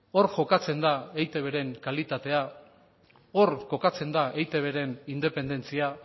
hor jokatzen da eitbren kalitatea hor kokatzen da eitbren independentzia